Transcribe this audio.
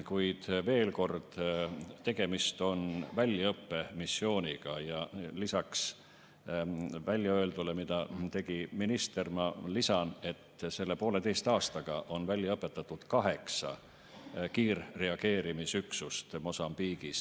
Kuid veel kord, tegemist on väljaõppemissiooniga ja lisaks ministri väljaöeldule ütlen, et selle poolteise aastaga on välja õpetatud kaheksa kiirreageerimisüksust Mosambiigis.